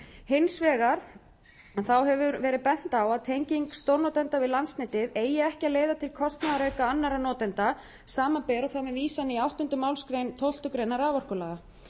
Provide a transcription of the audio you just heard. hins vegar hefur verið bent á að tenging stórnotenda við landsnetið eigi ekki að leiða til kostnaðarauka annarra notenda samanber og þá með vísan í áttundu málsgrein tólftu greinar raforkulaga